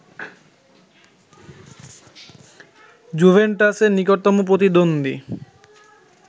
জুভেন্টাসের নিকটতম প্রতিদ্বন্দ্বী